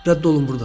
Rədd olun burdan.